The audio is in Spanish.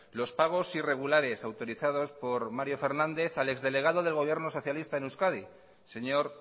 los pagos irregulares autorizados por mario fernández al ex delegado del gobierno socialista en euskadi señor